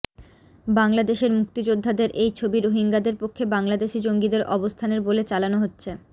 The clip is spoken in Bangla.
বাংলাদেশের মুক্তিযোদ্ধাদের এই ছবি রোহিঙ্গাদের পক্ষে বাংলাদেশি জঙ্গিদের অবস্থানের বলে চালানো হচ্ছে